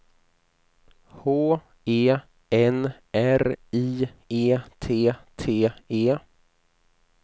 H E N R I E T T E